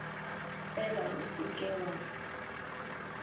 fela o se ke wa